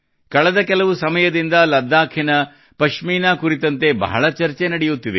ಕಳೆದ ಕೆಲವು ಸಮಯದಿಂದ ಲಡಾಖಿನ ಪಶ್ಮೀನಾ ಕುರಿತಂತೆ ಬಹಳ ಚರ್ಚೆ ನಡೆಯುತ್ತಿದೆ